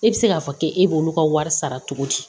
E bɛ se k'a fɔ k'e b'olu ka wari sara cogo di